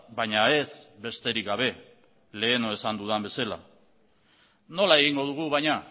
baina ez besterik gabe lehen esan dudan bezala nola egingo dugu baina